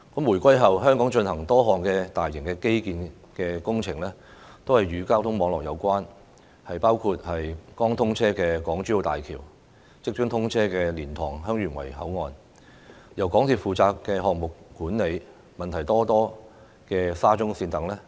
回歸後，香港進行的多項大型基建工程，均與交通網絡有關，包括剛通車的港珠澳大橋、即將通車的蓮塘/香園圍口岸，以及由港鐵公司負責項目管理、問題叢生的沙中線等。